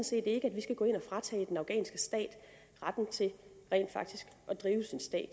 set ikke at vi skal gå ind og fratage den afghanske stat retten til rent faktisk at drive sig selv